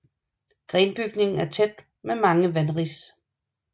Grenbygningen er tæt med mange vanris